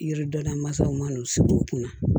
Yiri dɔ la masaw man n'u sigi u kunna